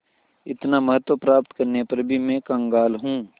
इतना महत्व प्राप्त करने पर भी मैं कंगाल हूँ